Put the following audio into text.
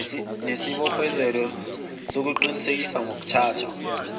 nesibophezelo sokuqinisekisa ngokuthatha